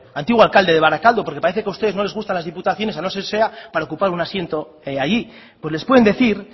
antiguo alcalde de barakaldo porque parece que a ustedes no les gustan las diputaciones a no ser que sea para ocupar un asiento allí les pueden decir